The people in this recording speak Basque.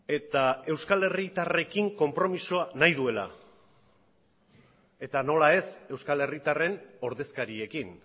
eta euskal herritarrekin konpromisoa nahi duela eta nola ez euskal herritarren ordezkariekin